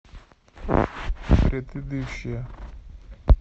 предыдущая